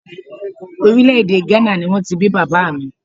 Orílè èdè Gánà ni wọ́n ti bí bàbá mi